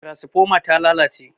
tarasifoma ta lalace